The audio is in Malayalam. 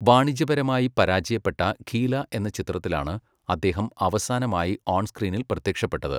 വാണിജ്യപരമായി പരാജയപ്പെട്ട 'ഖീല' എന്ന ചിത്രത്തിലാണ് അദ്ദേഹം അവസാനമായി ഓൺ സ്ക്രീനിൽ പ്രത്യക്ഷപ്പെട്ടത്.